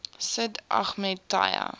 sid ahmed taya